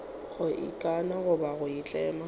go ikana goba go itlama